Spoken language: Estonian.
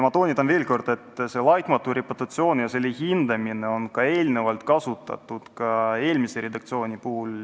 Ma toonitan veel kord, et "laitmatu reputatsioon" ja selle hindamine on ka enne kasutusel olnud, seda ka eelmises redaktsioonis.